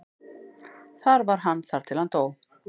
Þar var hann þar til hann dó.